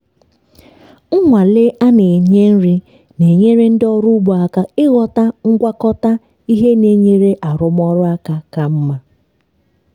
nnwale a na-enye nri na-enyere ndị ọrụ ugbo aka ịghọta ngwakọta ihe na-enyere arụmọrụ aka ka mma.